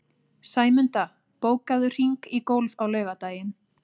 Sæmunda, bókaðu hring í golf á laugardaginn.